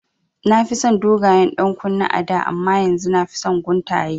Na fi son dogayen ɗankunne a da amma yanzu nafi son guntaye